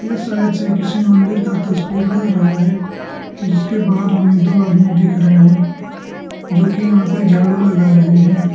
इस साइड से किसी मंदिर का तस्वीर लग रहा है जिसके बाहर हमें दो आदमी दिख रहे हैं जो कि यहां पर झाड़ू लगा रहे हैं।